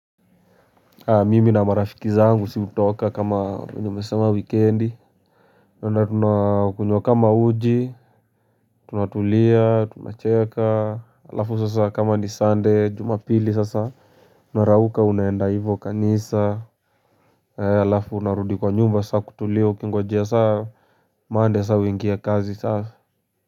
Mimi na marafiki zangu si hutoka kama minimesema weekendi Nuna tunakunywa kama uji. Tunatulia, tunacheja, alafu sasa kama ni sunday jumapili sasa. Narauka unaenda hivyo kanisa alafu narudi kwa nyumba sasa kutulia ukingojea sasa Monday sasa uingie kazi sasa.